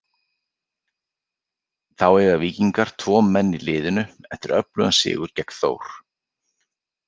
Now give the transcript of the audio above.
Þá eiga Víkingar tvo menn í liðinu eftir öflugan sigur gegn Þór.